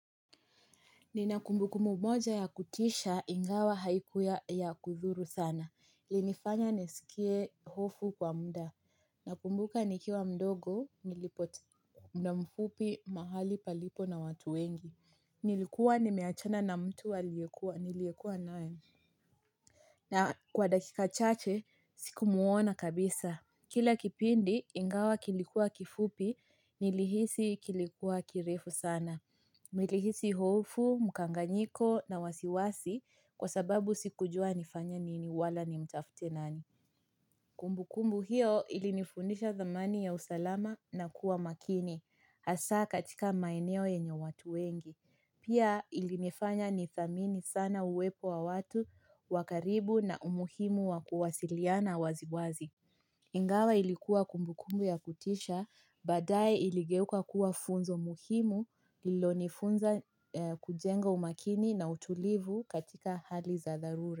Ninakumbukumbu moja ya kutisha, ingawa haikuwa ya kudhuru sana. Ilinifanya niskie hofu kwa mda. Nakumbuka nikiwa mdogo, nilipota mda mfupi mahali palipo na watu wengi. Nilikuwa ni meachana na mtu aliyekua, niliyekua nae. Na kwa dakika chache, siku muona kabisa. Kila kipindi, ingawa kilikuwa kifupi, nilihisi kilikuwa kirefu sana. Nilihisi hofu, mukanganyiko na wasiwasi kwa sababu sikujua nifanya nini wala ni mtafute nani Kumbu kumbu hiyo ilinifundisha thamani ya usalama na kuwa makini hasa katika maeneo yenye watu wengi Pia ilinifanya nithamini sana uwepo wa watu wakaribu na umuhimu wa kuwasiliana wazi wazi Ingawa ilikuwa kumbukumbu ya kutisha, badae iligeuka kuwa funzo muhimu ilo nifunza kujenga umakini na utulivu katika hali za dharura.